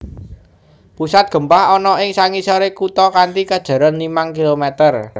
Pusat gempa ana ing sangisoré kutha kanthi kajeron limang kilometer